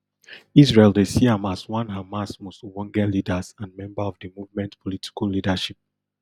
israel dey see am as one hamas most ogbonge leaders and member of di movement political leadership